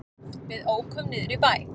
Við ókum niður í bæ.